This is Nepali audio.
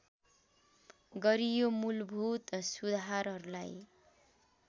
गरियो मूलभूत सुधारहरूलाई